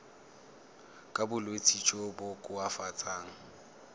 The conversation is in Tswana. ka bolwetsi jo bo koafatsang